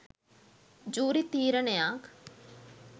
Jury තීරණයක්.